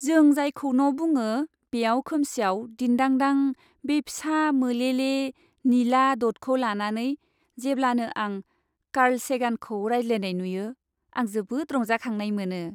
जों जायखौ न' बुङो बेयाव खोमसियाव दिनदांदां बे फिसा मोलेले निला दटखौ लानानै जेब्लानो आं कार्ल सेगानखौ रायज्लायनाय नुयो आं जोबोद रंजाखांनाय मोनो।